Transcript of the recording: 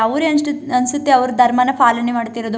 ಅವ್ರೆ ಅನ್ಸ್ಟ್- ಅನ್ಸುತ್ತೆ ಅವ್ರ ಧರ್ಮನ ಪಾಲನೆ ಮಾಡ್ತಿರೋದು .